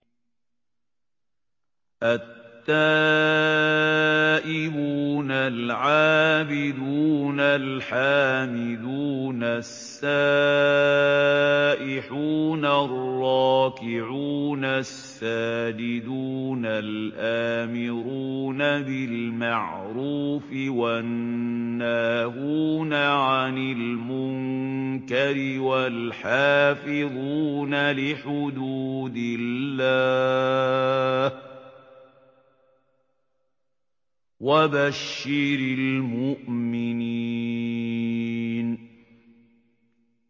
التَّائِبُونَ الْعَابِدُونَ الْحَامِدُونَ السَّائِحُونَ الرَّاكِعُونَ السَّاجِدُونَ الْآمِرُونَ بِالْمَعْرُوفِ وَالنَّاهُونَ عَنِ الْمُنكَرِ وَالْحَافِظُونَ لِحُدُودِ اللَّهِ ۗ وَبَشِّرِ الْمُؤْمِنِينَ